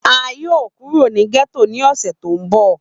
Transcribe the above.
A yoo kuro ni getto ni ọsẹ to nbọ.